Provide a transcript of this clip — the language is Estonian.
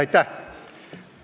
Aitäh!